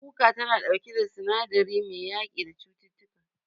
Kuka tana ɗauke da sinadari mai yaƙi da cututtuka.